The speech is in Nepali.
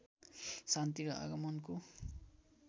शान्ति र आगमनको